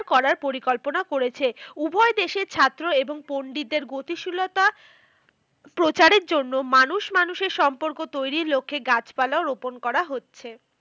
করার পরিকল্পনা করেছে। উভয় দেশের ছাত্র এবং পন্ডিতের গতিশীলতা প্রচারের জন্য মানুষ মানুষের সম্পর্ক তৈরীর লক্ষ্যে গাছপালা রোপন করা হচ্ছে।